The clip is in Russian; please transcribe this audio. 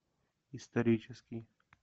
исторический